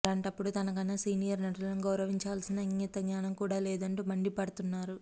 అలాంటప్పుడు తనకన్నా సీనియర్ నటులను గౌరవించాల్సిన ఇంగితజ్ఞానం కూడా లేదంటూ మండిపడుతున్నారు